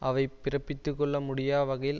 அவை பிறப்பித்துக்கொள்ள முடியா வகையில்